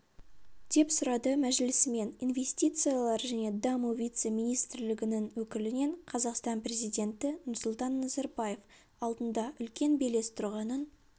деп сұрады мәжілісмен инвестициялар және даму вице-министрлігінің өкілінен қазақстан президенті нұрсұлтан назарбаев алдында үлкен белес тұрғанын